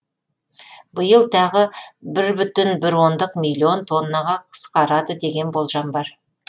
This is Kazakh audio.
биыл тағы бір бүтін бір ондық миллион тоннаға қысқарады деген болжам бар